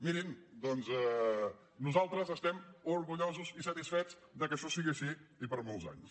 mirin doncs nosaltres estem orgullosos i satisfets que això sigui així i per molts anys